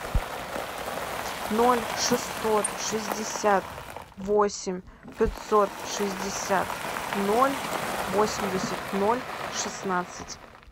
ноль шестьсот шестьдесят восемь пятьсот шестьдесят ноль восемьдесят ноль шестнадцать